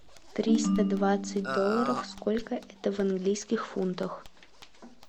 триста двадцать долларов сколько это в английских фунтах